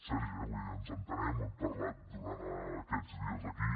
sergi eh ens entenem ho hem parlat durant aquests dies aquí